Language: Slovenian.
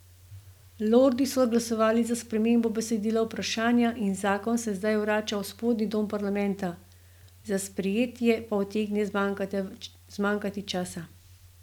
Lordi so glasovali za spremembo besedila vprašanja in zakon se zdaj vrača v spodnji dom parlamenta, za sprejetje pa utegne zmanjkati časa.